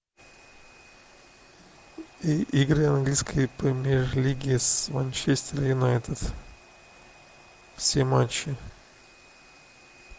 игры английской премьер лиги с манчестер юнайтед все матчи